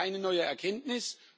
Das ist keine neue Erkenntnis.